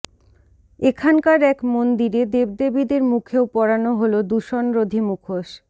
এখানকার এক মন্দিরে দেবদেবীদের মুখেও পরানো হল দূষণরোধী মুখোশ